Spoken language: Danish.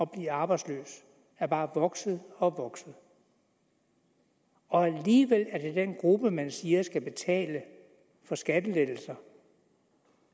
blive arbejdsløs er bare vokset og vokset alligevel er det den gruppe man siger skal betale for skattelettelser